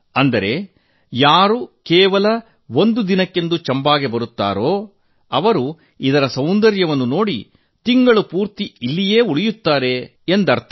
ಅಂದರೆ ಯಾರು ಕೇವಲ ಒಂದು ದಿನಕ್ಕೆಂದು ಚಂಬಾಗೆ ಬರುತ್ತಾರೋ ಅವರು ಅದರ ಸೌಂದರ್ಯ ನೋಡಿ ತಿಂಗಳು ಪೂರ್ತಿ ಇಲ್ಲಿಯೇ ಉಳಿಯುತ್ತಾರೆಂಬುದು ಅದರ ಅರ್ಥ